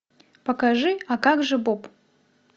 покажи а как же боб